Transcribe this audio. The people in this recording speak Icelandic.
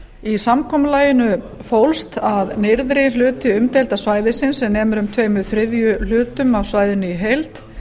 í samkomulaginu fólst að nyrðri hluti umdeilda svæðisins sem nemur um tveimur þriðju hlutum af svæðinu í heild